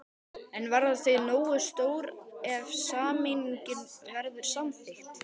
En verða þau nógu stór ef sameining verður samþykkt?